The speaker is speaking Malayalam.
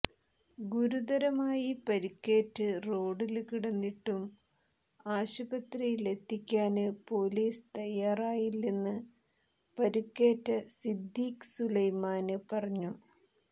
ഗുരുതരമായി പരുക്കേറ്റ് റോഡില് കിടന്നിട്ടും ആശുപത്രിയിലെത്തിക്കാന് പൊലീസ് തയാറായില്ലെന്ന് പരുക്കേറ്റ സിദ്ദിഖ് സുലൈമാന് പറഞ്ഞു